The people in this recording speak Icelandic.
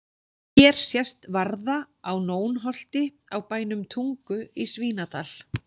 Hér sést varða á Nónholti á bænum Tungu í Svínadal.